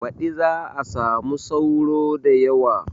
Baɗi za a samu sauro da yawa